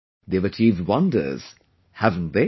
They have achieved wonders, haven't they